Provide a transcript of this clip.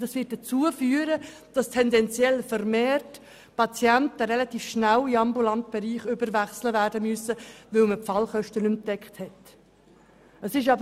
Dieses wird dazu führen, dass tendenziell vermehrt Patienten relativ schnell in den ambulanten Bereich wechseln müssen, weil die Fallkosten nicht mehr gedeckt sind.